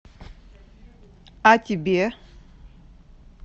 а тебе